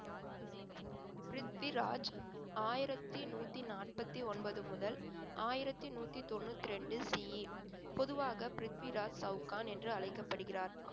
பிரித்விராஜ் ஆயிரத்தி நூத்தி நாற்பத்தி ஒன்பது முதல் ஆயிரத்தி நூத்தி தொண்ணூத்தி ரெண்டு CE பொதுவாக பிரித்விராஜ் சவுகான் என்று அழைக்கப்படுகிறார்